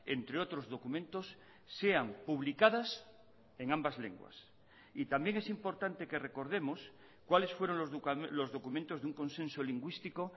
entre otros documentos sean publicadas en ambas lenguas y también es importante que recordemos cuáles fueron los documentos de un consenso lingüístico